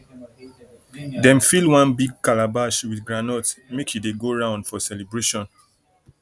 dem fill one big calabash with groundnut make e dey go round for celebration